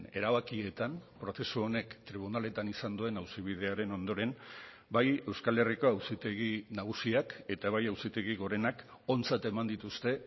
erabakietan prozesu honek tribunaletan izan duen auzibidearen ondoren bai euskal herriko auzitegi nagusiak eta bai auzitegi gorenak ontzat eman dituzte